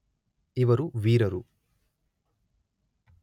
ಇವರು ವೀರರು